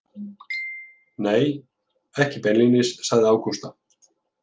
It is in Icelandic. Nei, ekki beinlínis, sagði Ágústa.